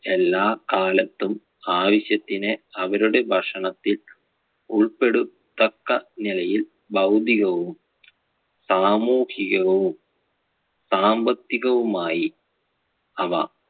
എല്ലാ കാലത്തും ആവശ്യത്തിന് അവരുടെ ഭക്ഷണത്തിൽ ഉൾപ്പെടുത്തക്ക നിലയിൽ ഭൌതികവും സാമൂഹികവും സാമ്പത്തികവുമായി അവ